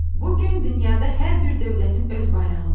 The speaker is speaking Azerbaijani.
Bu gün dünyada hər bir dövlətin öz bayrağı var.